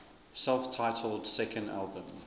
self titled second album